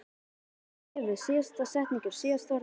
Síðasta bréfið, síðasta setningin, síðasta orðið.